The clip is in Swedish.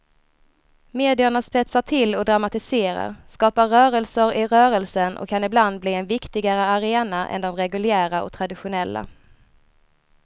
Medierna spetsar till och dramatiserar, skapar rörelser i rörelsen och kan ibland bli en viktigare arena än de reguljära och traditionella.